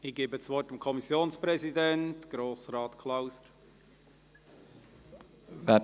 Ich gebe das Wort dem Kommissionspräsidenten der BaK, Grossrat Klauser.